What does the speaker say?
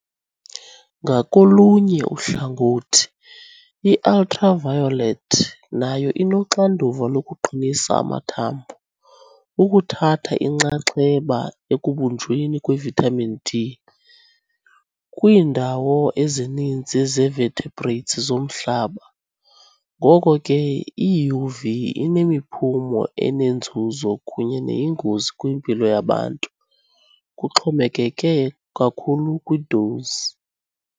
Ngakolunye uhlangothi, i-ultraviolet nayo inoxanduva lokuqinisa amathambo, ukuthatha inxaxheba ekubunjweni kwe-vitamin D, kwiindawo ezininzi ze-vertebrates zomhlaba , ngoko ke i-UV inemiphumo enenzuzo kunye neyingozi kwimpilo yabantu kuxhomekeke kakhulu kwi-dose.